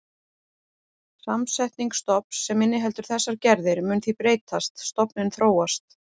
Samsetning stofns sem inniheldur þessar gerðir mun því breytast, stofninn þróast.